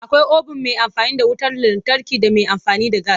Akwai obin mai amfani da wutar lantarki da mai amfani da gas.